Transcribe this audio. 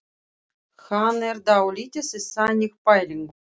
Hann er dálítið í þannig pælingum.